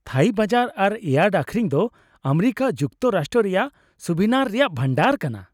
ᱛᱷᱟᱹᱭᱤ ᱵᱟᱡᱟᱨ ᱟᱨ ᱤᱭᱟᱨᱰ ᱟᱹᱠᱷᱨᱤᱧ ᱫᱚ ᱟᱢᱮᱨᱤᱠᱟ ᱡᱩᱠᱛᱚᱨᱟᱥᱴᱨᱚ ᱨᱮᱭᱟᱜ ᱥᱩᱵᱷᱤᱱᱟᱨ ᱨᱮᱭᱟᱜ ᱵᱷᱟᱱᱰᱟᱨ ᱠᱟᱱᱟ ᱾